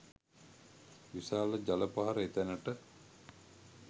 විශාල ජල පහර එතැනට